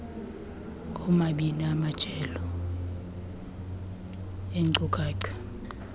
oomabini amajelo eenkcukacha